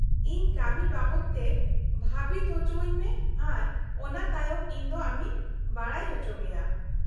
-ᱤᱧ ᱠᱟᱹᱢᱤ ᱵᱟᱵᱚᱛ ᱛᱮ ᱵᱷᱟᱹᱵᱤᱛ ᱚᱪᱚᱣᱟᱹᱧ ᱢᱮ ᱟᱨ ᱚᱱᱟ ᱛᱟᱭᱚᱢ ᱤᱧᱫᱚ ᱟᱢᱤᱧ ᱵᱟᱰᱟᱭ ᱚᱪᱚᱢᱮᱭᱟ ᱾